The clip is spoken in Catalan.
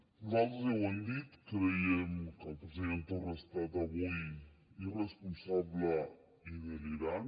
nosaltres ja ho hem dit creiem que el president torra ha estat avui irresponsable i delirant